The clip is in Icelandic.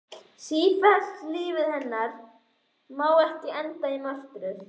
Slétt og fellt líf hennar má ekki enda í martröð.